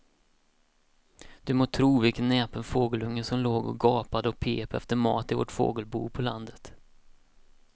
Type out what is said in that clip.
Du må tro vilken näpen fågelunge som låg och gapade och pep efter mat i vårt fågelbo på landet.